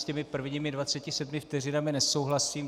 S těmi prvními 27 vteřinami nesouhlasím.